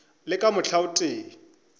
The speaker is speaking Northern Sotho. le ka mohla o tee